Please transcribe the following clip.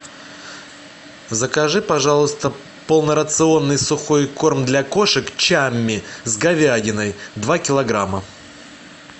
закажи пожалуйста полнорационный сухой корм для кошек чамми с говядиной два килограмма